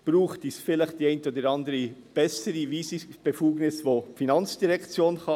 Braucht es vielleicht die eine oder andere bessere Weisungsbefugnis, welche die FIN angehen kann?